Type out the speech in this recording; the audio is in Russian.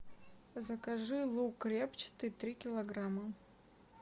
закажи лук репчатый три килограмма